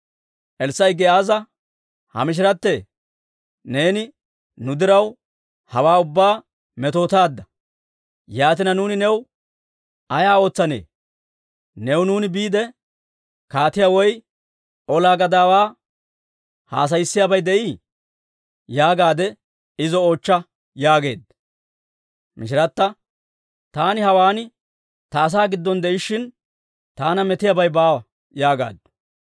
Elssaa'i Giyaaza, «Ha mishiratee ‹Neeni nu diraw, hawaa ubbaa metootaadda. Yaatina nuuni new ay ootsanne? New nuuni biide, kaatiyaa woy ola gadaawaa haasayissiyaabi de'ii?› yaagaadde izo oochcha» yaageedda. Mishirata, «Taani hawaan ta asaa giddon de'ishshin, taana metiyaabay baawa» yaagaaddu.